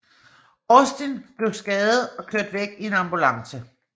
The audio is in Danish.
Austin blev skadet og kørt væk i en ambulance